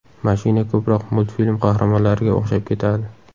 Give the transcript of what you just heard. Mashina ko‘proq multfilm qahramonlariga o‘xshab ketadi.